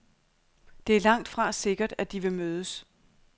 Det er langtfra sikkert, at de vil mødes.